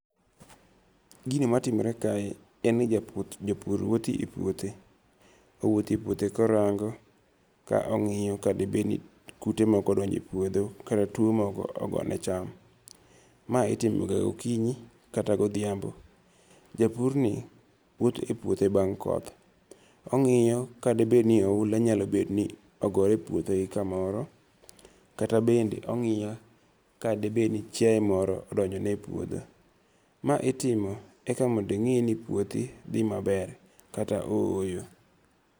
Gini matimore kae en ni japur wuotho e puothe. Owuotho e puothe korango ka ong'iyo ka de bed ni kute moko odonjo e puodho kata tuo moro ogo ne cham. Ma itimo ga gokinyi kata godhiambo. Japur ni wuotho e puothe bang' koth. Ong'iyo ka de bed ni oula nyalo bed ni ogore e puothe gi kamoro. Kata bende ong'iyo ka de bed ni chiaye moro odonjo ne e puodho. Ma itimo aka mondo ing'e ni puothi dhi maber kata o oyo.